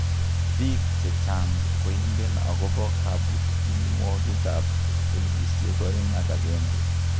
Biik chechang' koingen akobo kabukyinwokik ab elipusiek oeng ak agenge